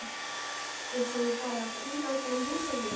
Eins og ég fari að príla utan á húsveggjum!